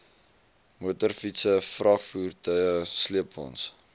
motorfietse vragvoertuie sleepwaens